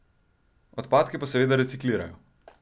Odpadke pa seveda reciklirajo.